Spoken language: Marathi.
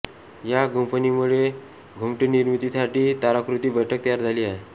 या गुंफणीमुळे घुमटनिर्मितीसाठी ताराकृती बैठक तयार झाली आहे